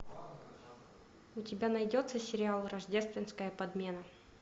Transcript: у тебя найдется сериал рождественская подмена